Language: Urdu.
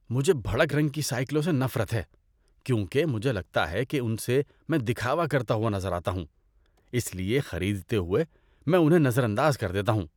مجھے بھڑک رنگ کی سائیکلوں سے نفرت ہے کیونکہ مجھے لگتا ہے کہ ان سے میں دکھاوا کرتا ہوا نظر آتا ہوں، اس لیے خریدتے ہوئے میں انہیں نظر انداز کر دیتا ہوں۔